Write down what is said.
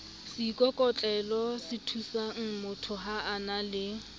seikokotlelosethusangmotho ha a na le